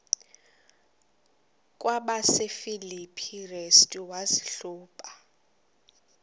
kwabasefilipi restu wazihluba